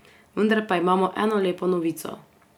Vendar pa imamo eno lepo novico.